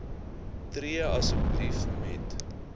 tree asseblief met